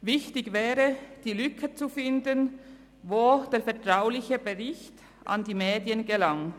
Wichtig wäre es, die Lücke zu finden, über welche der vertrauliche Bericht an die Medien gelangte.